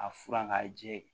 A furan k'a jɛ